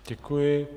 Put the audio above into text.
Děkuji.